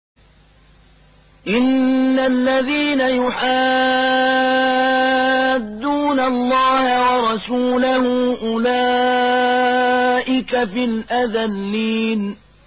إِنَّ الَّذِينَ يُحَادُّونَ اللَّهَ وَرَسُولَهُ أُولَٰئِكَ فِي الْأَذَلِّينَ